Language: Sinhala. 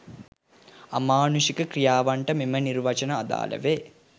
අමානුෂික ක්‍රියාවන්ට මෙම නිර්වචන අදාළ වේ